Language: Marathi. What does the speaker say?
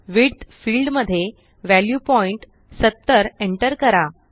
विड्थ फिल्ड मध्ये वॅल्यू पॉइंट 70 एन्टर करा